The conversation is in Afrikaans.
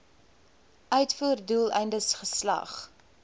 uitvoer doeleindes geslag